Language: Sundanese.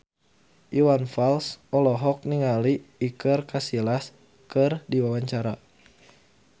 Iwan Fals olohok ningali Iker Casillas keur diwawancara